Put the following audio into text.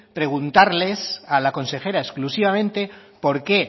preguntarle a la consejera exclusivamente por qué